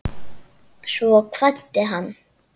Svo kvaddi hann.